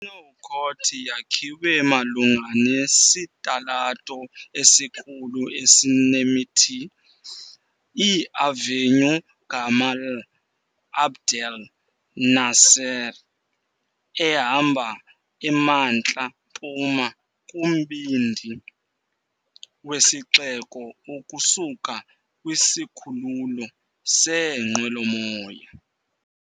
INouakchott yakhiwe malunga nesitalato esikhulu esinemithi, iAvenue Gamal Abdel Nasser, ehamba emantla mpuma kumbindi wesixeko ukusuka kwisikhululo seenqwelomoya.